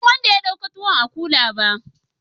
Ban san wanda ya dauka tuwon a kula ba?